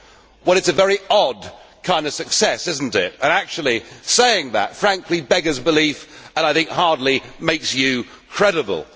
Well, it is a very odd kind of success, is it not, and actually saying that frankly beggars belief and I think hardly makes you credible.